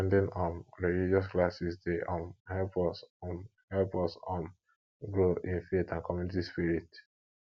at ten ding um religious classes dey um help us um help us um grow in faith and community spirit